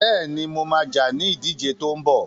Bẹ́ẹ̀ni, mo ma jà ní ìdíje tó ń bọ̀